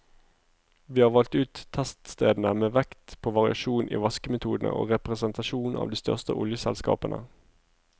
Vi har valgt ut teststedene med vekt på variasjon i vaskemetode og representasjon av de største oljeselskapene.